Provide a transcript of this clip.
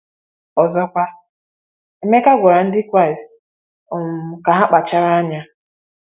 Ọzọkwa, Emeka gwara ndị Kraịst um ka ha kpachara anya.